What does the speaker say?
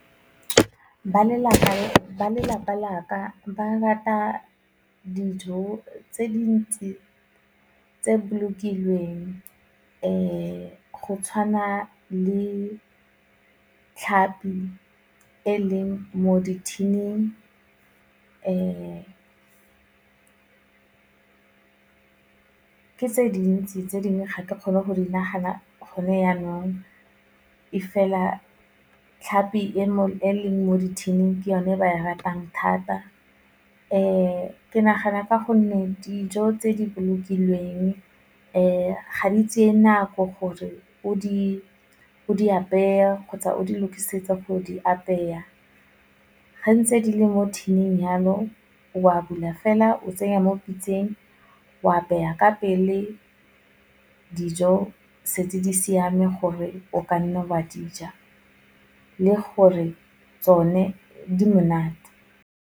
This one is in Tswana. Ba lelapa laka ba rata dijo tse dintsi tse bolokilweng go tshwana le tlhapi e leng mo di-tin-ing, ke tse dintsi tse dingwe ga ke kgone go di nagana gone janong, e fela tlhapi e leng mo di-tin-ing ke o ne e ba e ratang thata, ke nagana ka gonne, dijo tse di bolokilweng ga di tseye nako gore o di apeye kgotsa o di lokisetse go di apeya, gantsi ga di le mo tin-ing jalo o a bula fela o tsenya mo pitseng, o apeya ka pele dijo setse di siame gore o kanna wa dija, le gore tsone di monate.